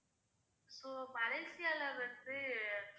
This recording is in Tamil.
so மலேசியால வந்து